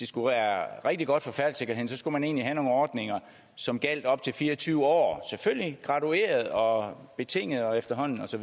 skulle være rigtig godt for færdselssikkerheden skulle man egentlig have nogle ordninger som gjaldt op til fire og tyve år selvfølgelig gradueret og betinget og efterhånden og så